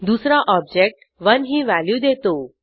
दुसरा ऑब्जेक्ट 1 ही व्हॅल्यू देतो